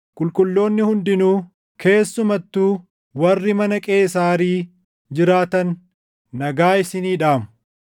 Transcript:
Qulqulloonni hundinuu, keessumattuu warri mana Qeesaarii jiraatan nagaa isinii dhaamu.